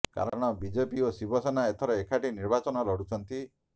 କାରଣ ବିଜେପି ଓ ଶିବସେନେ ଏଥର ଏକାଠି ନିର୍ବାଚନ ଲଢ଼ୁଛନ୍ତି